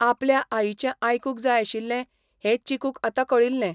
आपल्या आईचें आयकूंक जाय आशिल्लें हें चिकूक आता कळिल्लें.